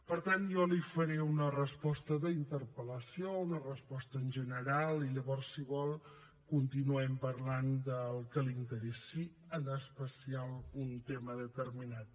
per tant jo li faré una resposta d’interpel·lació una resposta en general i llavors si vol continuem parlant del que li interessi en especial un tema determinat